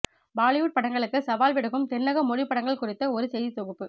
பாலிவுட் படங்களுக்கு சவால் விடுக்கும் தென்னக மொழி படங்கள் குறித்த ஒரு செய்தித் தொகுப்பு